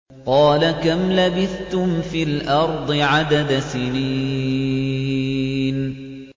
قَالَ كَمْ لَبِثْتُمْ فِي الْأَرْضِ عَدَدَ سِنِينَ